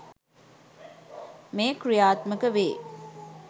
මෙය ක්‍රියාත්මක වේ.